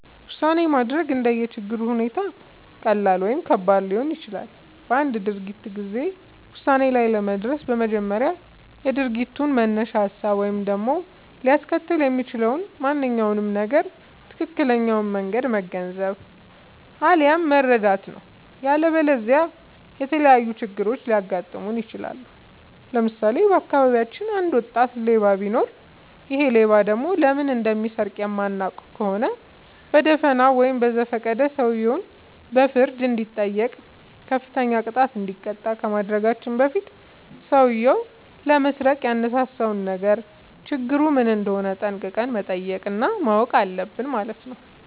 ውሳኔ ማድረግ እንደየ ችግሩ ሁኔታ ቀላል ወይም ከባድ ሊሆን ይችላል። በአንድ ድርጊት ጊዜ ውሳኔ ላይ ለመድረስ በመጀመሪያ የድርጊቱን መነሻ ሀሳብ ወይም ደግሞ ሊያስከትል የሚችለውን ማንኛውም ነገር ትክክለኛውን መንገድ መገንዘብ፣ አለያም መረዳት ነው።. ያለበለዚያ የተለያዩ ችግሮች ሊያጋጥሙን ይችላሉ። ለምሳሌ:- በአካባቢያችን አንድ ወጣት ሌባ ቢኖር ይሔ ሌባ ደግሞ ለምን እንደሚሰርቅ የማናውቅ ከሆነ በደፋናው ወይም በዘፈቀደ ሰውየው በፍርድ እንዲጠይቅ፤ ከፍተኛ ቅጣት እንዲቀጣ ከማድረጋችን በፊት ሠውዬው ለመስረቅ ያነሳሳውን ነገር ችግሩ ምን እንደሆነ ጠንቅቀን መጠየቅ እና ማወቅ አለብን ማለት ነው።